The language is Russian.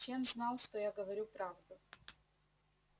чен знал что я говорю правду